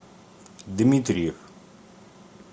дмитриев